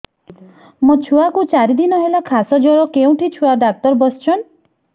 ମୋ ଛୁଆ କୁ ଚାରି ଦିନ ହେଲା ଖାସ ଜର କେଉଁଠି ଛୁଆ ଡାକ୍ତର ଵସ୍ଛନ୍